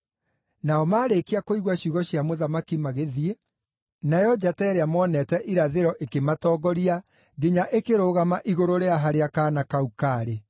Nao maarĩkia kũigua ciugo cia mũthamaki magĩthiĩ, nayo njata ĩrĩa moonete irathĩro ĩkĩmatongoria nginya ĩkĩrũgama igũrũ rĩa harĩa kaana kau kaarĩ.